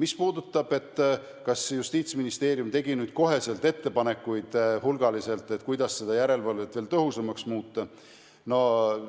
Mis puudutab seda, kas Justiitsministeerium tegi nüüd otsekohe hulgaliselt ettepanekuid, kuidas seda järelevalvet veel tõhusamaks muuta,